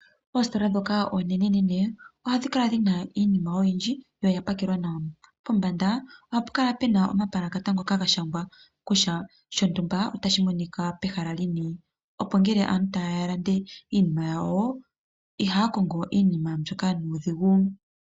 Oositola dhoka oonene nene ohadhi kala dhina iinima oyindji yo oyapakelwa nawa. Pombanda ohapu kala pena omapalakata gashangwa kutya oshinima otashi monika pehala lini ongele uuna aantu taya kongo iinima yawo itaya kongo nuudhigu.